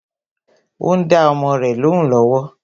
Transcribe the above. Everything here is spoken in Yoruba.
Ó ń dá ọmọ rẹ lóhùn lọ́wọ́